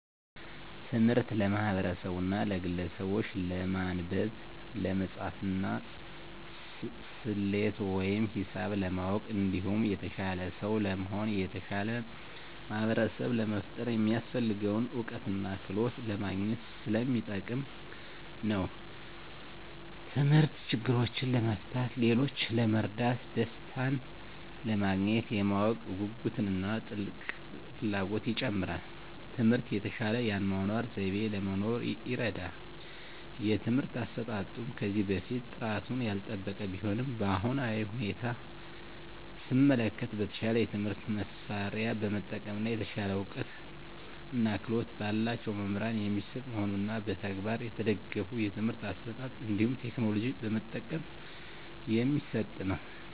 ትምህርት ለማህበርሰቡና ለግለሰቡች ለማንበብ፣ ለመፃፍና፣ ሰሌት ወይም ሂሳብ ለማወቅ እንዲሁም የተሻለ ሰው ለመሆን እና የተሻለ ማህበርሰብ ለመፍጠር የሚያሰፍልገውን እውቀትና ክህሎት ለማግኝት ሰለሚጠቅም ነው። ተምህርት ችግሮችን ለመፍታት፣ ሌሎችን ለመርዳት፣ ደሰታንለማግኘት፣ የማወቅ ጉጉትን እና ጥልቅ ፍላጎትን ይጨምራል። ትምህርት የተሻለ የአኗኗር ዘይቤ ለመኖር ይርዳል። የትምህርት አሰጣጡም ከዚህ በፊት ጥራቱን ያልጠበቀ ቢሆንም በአሁናዊ ሁኔታ ሰመለከት በተሻለ የትምህርት መሳርያ በመጠቀም እና የተሻለ እውቀትና ክህሎት በላቸው መምህራን የሚሰጥ መሆኑንና በተግባር የተደገፍ የትምህርት አሰጣጥ እንዲሁም ቴክኖሎጂ በመጠቀም የሚሰጥ ነው።